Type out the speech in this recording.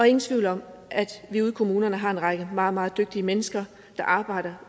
ingen tvivl om at vi ude i kommunerne har en række meget meget dygtige mennesker der arbejder